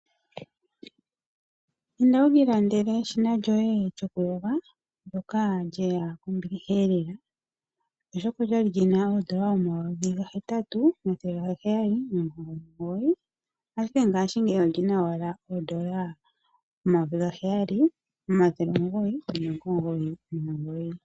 Inda wukilandele eshina lyoye lyokuyoga ndyoka lyeya kombiliha lela lyali lina N$8799 ashike ngashingeyi olyina owala N$7999.